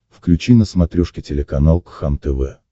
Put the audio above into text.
включи на смотрешке телеканал кхлм тв